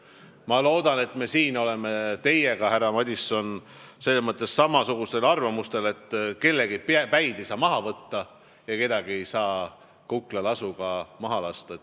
Ma loodan, et me oleme teiega, härra Madison, selles mõttes samasugusel arvamusel, et kellegi päid ei saa maha võtta ja kedagi ei saa kuklalasuga maha lasta.